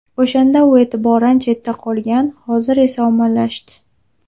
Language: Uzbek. O‘shanda u e’tibordan chetda qolgan, hozir esa ommalashdi.